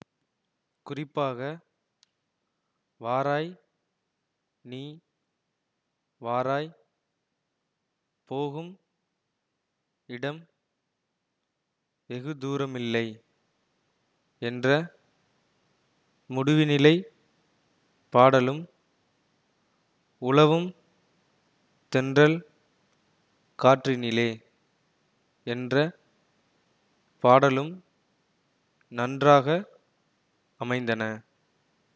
குறிப்பாக வாராய் நீ வாராய் போகும் இடம் வெகு தூரமில்லை என்ற முடிவுநிலைப் பாடலும் உலவும் தென்றல் காற்றினிலே என்ற பாடலும் நன்றாக அமைந்தன